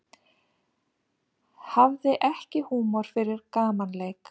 Hafði ekki húmor fyrir gamanleik